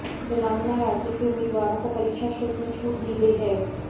तेलंगाना राज्य के उम्मीदवारों को परीक्षा शुल्क में छूट दी गई है